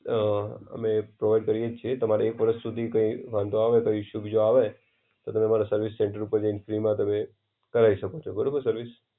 અ અમે એ પ્રોવાઈડ કરીયે જ છીએ, તમારે એક વર્ષ સુધી કઈ વાંધો આવે, કઈ ઇશુ બીજા આવે, તમે અમારા સર્વિસ સેંટર ઉપર જઈને ફ્રીમાં તમે, કરાઈ શકો છો. બરોબર, સર્વિસ.